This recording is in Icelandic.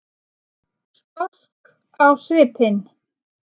Sposk á svipinn.